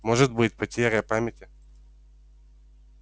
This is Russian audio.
может быть потеря памяти